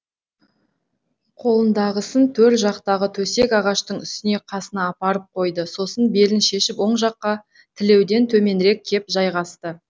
қолындағысын төр жақтағы төсек ағаштың үстіне қасына апарып қойды сосын белін шешіп оң жаққа тілеуден төменірек кеп жайғасты